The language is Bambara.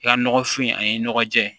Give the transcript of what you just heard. I ka nɔgɔfin ani nɔgɔ jɛ